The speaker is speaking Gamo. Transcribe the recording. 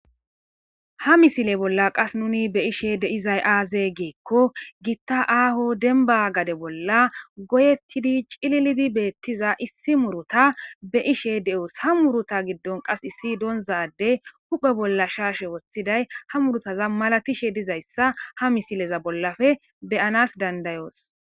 Ha misile bolla qas nuni be ishe de izay aaze geekko giitta aaho denba gade bolla goyettidi cililidi beettiza issi muruta be ishe de'oos ha muruta giddon qas issi doonzade huphe bolla shaashe woththiday ha murutaza malatishe dizayssa ha misileza bollafe beyanas dandayoos.